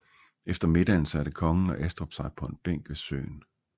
Efter middagen satte kongen og Estrup sig på en bænk ved søen